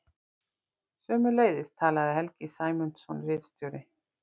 Sömuleiðis talaði Helgi Sæmundsson ritstjóri.